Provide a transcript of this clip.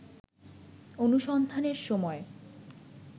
অনুসন্ধানের সময়